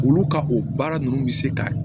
Olu ka o baara ninnu bɛ se ka